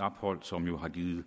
ophold som jo har givet